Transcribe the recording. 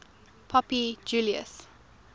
pope julius